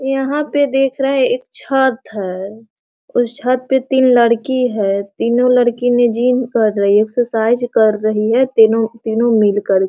यहाँ पे देख रहा है एक छत है | उस छत पे तीन लड़की है | तीनो लड़की ने जिम कर रही है एक्सरसाइज कर रही है तीनो-तीनो मिलकर ।